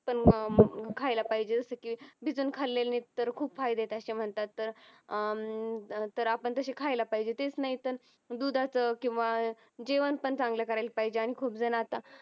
अं खायला पाहिजे जस की भिजून खाल्लेले तर खूप फायदेत असं म्हणतात तर अं तर आपण तसे खायला पाहिजेत तेच नाही तर दुधाचं किंवा जेवण पण चांगलं करायला पाहिजे खूप जण आता